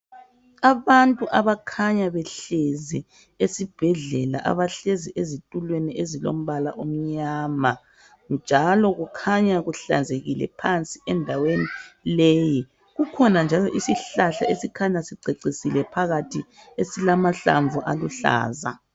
Abantu abakhanya behlezi esibhedlela abahlezi ezitulweni ezilombala omnyama njalo kukhanya kuhlanzekile phansi endaweni leyi . Kukhona njalo isihlahla esikhanya sicecisile phakathi esilamahlamvu aluhlaza.